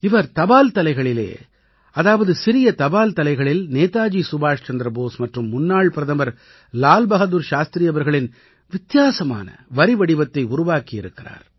இவர் தபால் தலைகளிலே அதாவது சிறிய தபால் தலைகளில் நேதாஜி சுபாஷ் சந்திர போஸ் மற்றும் முன்னாள் பிரதமர் லால் பஹாதுர் சாஸ்திரி அவர்களின் வித்தியாசமான வரிவடிவத்தை உருவாக்கி இருக்கிறார்